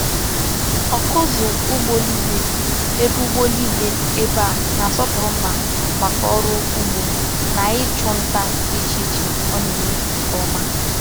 Ọkụzụ ugbo niile ebe ugbo niile ebe a na-asọpụrụ mma maka ọrụ ugbo na ịchụ nta dị iche iche ọ na-eme nke ọma.